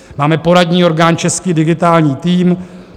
Máme poradní orgán Český digitální tým.